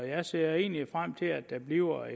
jeg ser egentlig frem til at det bliver